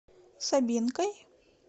собинкой